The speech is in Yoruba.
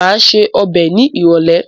Má ṣe ọbẹ̀ ni ìrólé